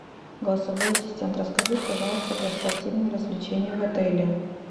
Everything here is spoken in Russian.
голосовой ассистент расскажи пожалуйста про спортивные развлечения в отеле